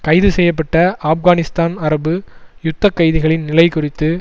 கைது செய்ய பட்ட ஆப்கானிஸ்தான் அரபு யுத்த கைதிகளின் நிலை குறித்து